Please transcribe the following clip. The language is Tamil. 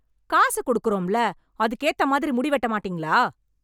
காசு கொடுக்கிறோம் இல்ல அதுக்கு ஏத்த மாதிரி முடி வெட்ட மாட்டீங்களா